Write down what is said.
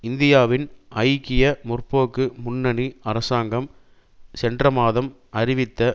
இந்தியாவின் ஐக்கிய முற்போக்கு முன்னணி அரசாங்கம் சென்ற மாதம் அறிவித்த